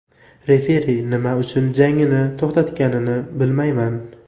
Referi nima uchun jangni to‘xtatganini bilmayman.